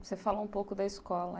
Você falou um pouco da escola.